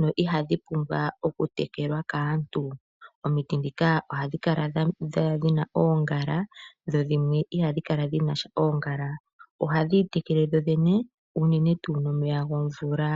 dho ihadhi pumbwa okutekelwa kaantu. Omiti dhika ohadhi kala dhina oongala dhimwe iha dhi kala dhina oongala. Ohadhi itekele dhodhene nomeya gomvula.